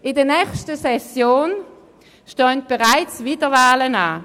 In der nächsten Session stehen bereits wieder Wahlen an.